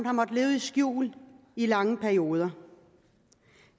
har måttet leve i skjul i lange perioder